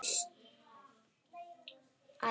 Hún er orðin syfjuð.